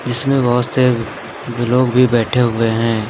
इसमें बहोत से लोग भी बैठे हुए हैं।